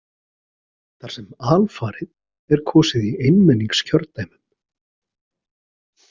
Þar sem alfarið er kosið í einmenningskjördæmum.